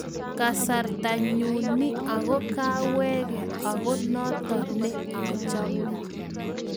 Kasarta nyuu ni ako kaawege ako noto ne achame